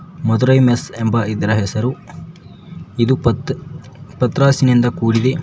Madurai mess ಎಂಬ ಇದರ ಹೆಸರು ಇದು ಪತ್ ಪತ್ರಾಸಿನಿಂದ ಕೂಡಿದೆ.